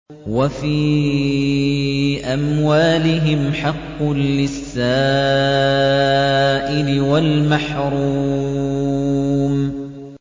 وَفِي أَمْوَالِهِمْ حَقٌّ لِّلسَّائِلِ وَالْمَحْرُومِ